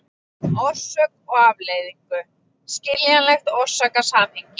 orsök og afleiðingu, skiljanlegt orsakasamhengi.